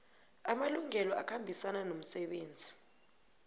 amalungelo akhambisana nomsebenzi